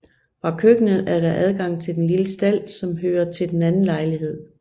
Fra køkkenet er der adgang til den lille stald som hører til den anden lejlighed